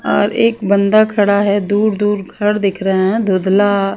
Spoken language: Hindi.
और एक बंदा खड़ा है दूर दूर घर दिख रहे हैं धुधला --